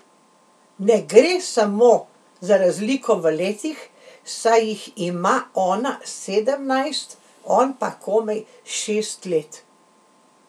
Ne gre samo za razliko v letih, saj jih ima ona sedemnajst, on pa komaj šest let.